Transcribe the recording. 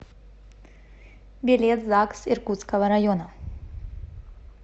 билет загс иркутского района